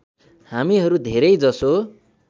हामीहरू धेरै जसो